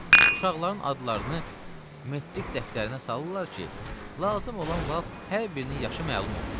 Uşaqların adlarını metrik dəftərinə salırlar ki, lazım olan vaxt hər birinin yaşı məlum olsun.